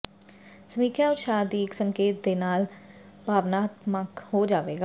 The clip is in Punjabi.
ਸਮੀਖਿਆ ਉਤਸ਼ਾਹ ਦੀ ਇੱਕ ਸੰਕੇਤ ਦੇ ਨਾਲ ਭਾਵਨਾਤਮਕ ਹੋ ਜਾਵੇਗਾ